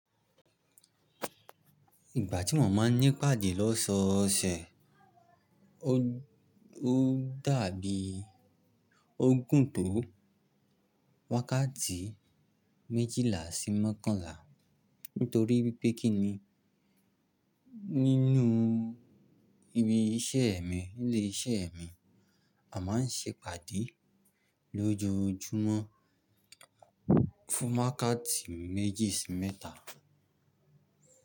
Ìgbà tí mo máa ń ní pàdé lóṣọ̀ọ̀sẹ̀, ó dàbí ogùn tó wákàtí méjìlá sí mọ́kànlá. Nítorí wipé kí ni nínú ibi iṣẹ́ mi, nilé iṣẹ́ mi a máa ń ṣe pàdé lójoojúmọ́ fún wákàtí méjì sí mẹ́ta.